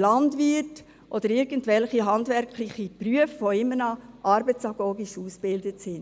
Landwirte oder irgendwelche handwerklichen Berufsleute, die immer auch noch arbeitsagogisch ausgebildet sind.